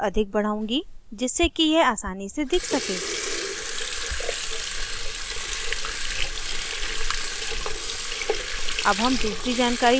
मैं font को और अधिक बढ़ाउंगी जिससे कि यह आसानी से दिख सके